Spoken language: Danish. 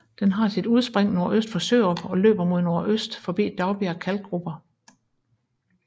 Den har sit udspring nordøst for Sjørup og løber mod nordøst forbi Daugbjerg Kalkgruber